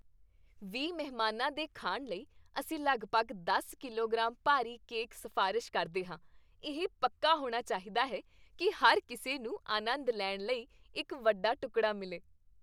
ਵੀਹ ਮਹਿਮਾਨਾਂ ਦੇ ਖਾਣ ਲਈ, ਅਸੀਂ ਲਗਭਗ ਦਸ ਕਿਲੋਗ੍ਰਾਮ ਭਾਰੀ ਕੇਕ ਸਿਫਾਰਸ਼ ਕਰਦੇ ਹਾਂ ਇਹ ਪੱਕਾ ਹੋਣਾ ਚਾਹੀਦਾ ਹੈ ਕੀ ਹਰ ਕਿਸੇ ਨੂੰ ਆਨੰਦ ਲੈਣ ਲਈ ਇੱਕ ਵੱਡਾ ਟੁਕੜਾ ਮਿਲੇ